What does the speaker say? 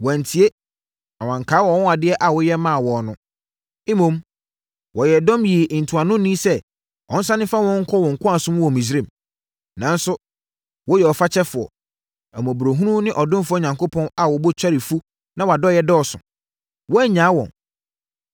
Wɔantie, na wɔankae wʼanwanwadeɛ a woyɛ maa wɔn no. Mmom, wɔyɛɛ dɔm yii ntuanoni sɛ ɔnsane mfa wɔn nkɔ wɔn nkoasom mu wɔ Misraim. Nanso, woyɛ ɔfakyɛfoɔ, ahummɔborɔ ne ɔdomfoɔ Onyankopɔn a wo bo kyɛre fu na wʼadɔeɛ dɔɔso. Woannyaa wɔn